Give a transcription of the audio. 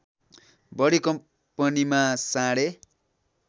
बढी कम्पनीमा साढे